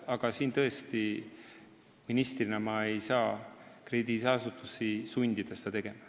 Aga ma tõesti ministrina ei saa krediidiasutusi sundida seda tegema.